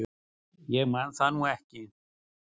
Ég man það nú ekki.